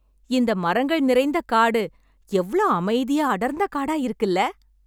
இந்த மரங்கள் நிறைந்த காடு, எவ்ளோ அமைதியா, அடர்ந்த காடா இருக்குல்ல...